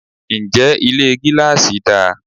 Ǹjẹ́ Ilé gíláàsì dà?